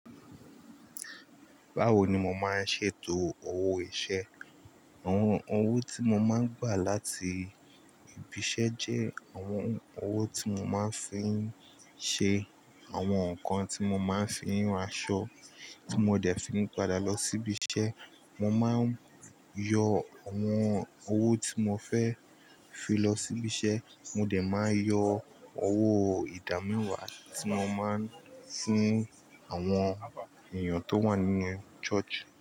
Báwo ni mo máa ń ṣètò owó iṣẹ́? Àwọn owó tí mo máa ń gbà láti ibi iṣẹ́ jẹ́ àwọn owó tí mo máa ń fi ń ṣe àwọn nǹkan tí mo máa ń fi ń ran aṣọ tí mo dẹ̀ fi ń padà lọ sí ibi iṣẹ́. Mo máa ń yọ àwọn owó tí mo fẹ́ fi lọ sí ibi iṣẹ́, mo dẹ̀ máa yọ owó ìdámewà tí mo máa ń fuń àwọn èèyàn tó wà nínú church.